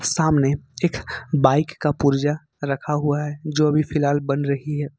सामने एक बाइक का पुर्जा रखा हुआ है जो अभी फिलहाल बन रही है।